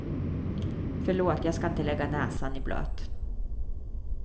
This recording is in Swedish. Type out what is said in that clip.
Förlåt, jag ska inte lägga näsan i blöt.